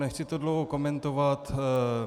Nechci to dlouho komentovat.